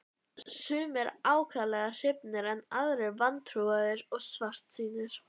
Sumir ákaflega hrifnir en aðrir vantrúaðir og svartsýnir.